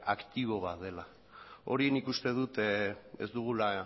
aktibo bat dela hori nik uste dut ez dugula